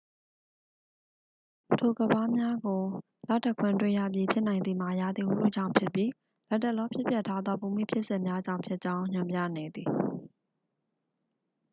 ထိုကမ်းပါးများကို လတခွင်တွေ့ရပြီး ဖြစ်နိုင်သည်မှာ ရာသီဥတုကြောင့်ဖြစ်ပြီး လတ်တလောဖြစ်ပျက်ထားသော ဘူမိဖြစ်စဉ်များကြောင့်ဖြစ်ကြောင်း ညွှန်ပြနေသည်